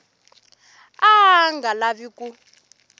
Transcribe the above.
a a nga lavi ku